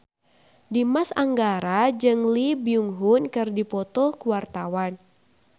Dimas Anggara jeung Lee Byung Hun keur dipoto ku wartawan